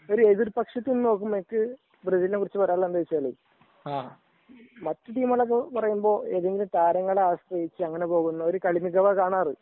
എതിർ പക്ഷത്തു നിന്ന് നോക്കുമ്പോൾ എനിക്ക് ബ്രസീലിനെ കുറിച്ച് പറയാനുള്ളത് മറ്റു ടീമുകളൊക്കെ നോക്കുമ്പോൾ ഏതെങ്കിലും താരങ്ങളെ ആശ്രയിച്ചു അങ്ങനെ പോകുന്ന കളിയൊക്കെ കാണാറ്